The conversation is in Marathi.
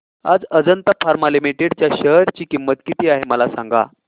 आज अजंता फार्मा लिमिटेड च्या शेअर ची किंमत किती आहे मला सांगा